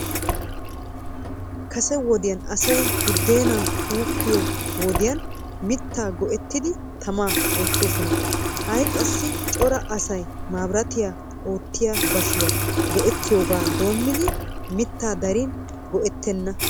Kase wodiyan asay budeenaa uukkiyoo wodiyan mittaa go'ettidi tamaa eetoosona. Ha'i qassi cora asay mabraatiyan oottiyaa bashiyaa go'ettiyooga doomidi mittaa darin go'ettena.